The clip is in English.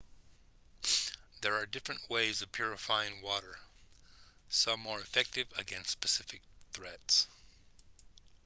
there are different ways of purifying water some more effective against specific threats